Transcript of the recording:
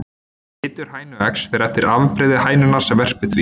Litur hænueggs fer eftir afbrigði hænunnar sem verpir því.